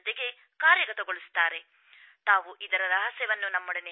ಜೊತೆಗೆ ಕಾರ್ಯಗತಗೊಳಿಸುತ್ತಾರೆ ಕೂಡ